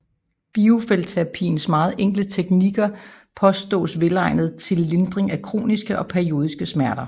Biofeltterapiens meget enkle teknikker påstås velegnet til lindring af kroniske og periodiske smerter